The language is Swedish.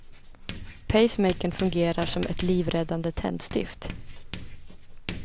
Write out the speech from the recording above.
Pacemakern fungerar som ett livräddande tändstift.